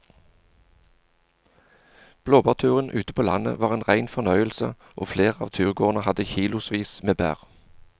Blåbærturen ute på landet var en rein fornøyelse og flere av turgåerene hadde kilosvis med bær.